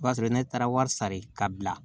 O b'a sɔrɔ ne taara wari sara